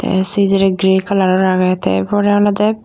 tey se jerey gray coloror agey tey er porey olodey.